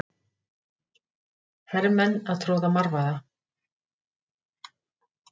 Hermenn að troða marvaða.